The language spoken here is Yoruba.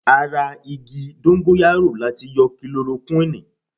Ara igi Dóngóyárò láti yọ Kilorokúnìì.